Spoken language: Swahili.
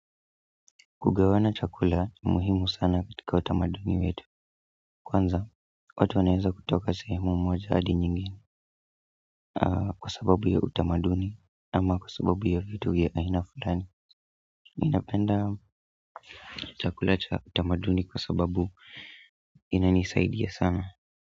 Kugawana chakula ni muhimu sana katika utamaduni wetu kwanza, watu wanaeza kutoka sehemu mwa jadi nyingine kwa sababu ya utamaduni ama kwa sababu ya vitu vya aina fulani ninapenda chakula cha utamaduni kwa sababu inanisaidia sana.